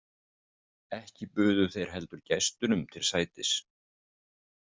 Ekki buðu þeir heldur gestunum til sætis.